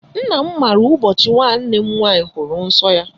Nna m maara ụbọchị nwanne m nwaanyị hụrụ nsọ ya.